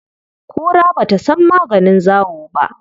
Kura ba ta san maganin zawo ba.